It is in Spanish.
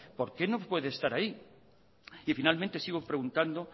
por qué no puede estar ahí y finalmente sigo preguntando